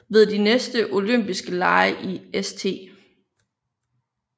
Ved de næste Olympiske Lege i St